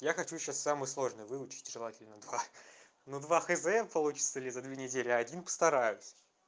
я хочу сейчас самый сложный выучить желательно два ну два хуй знает получится ли за две недели один постараюсь